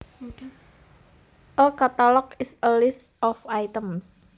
A catalog is a list of items